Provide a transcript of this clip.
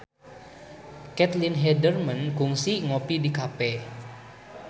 Caitlin Halderman kungsi ngopi di cafe